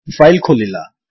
file ଖୋଲିଲା